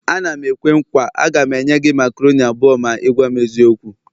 A na m-ekwe nkwa, a ga m enye gị macaroni abụọ ma ị gwam eziokwu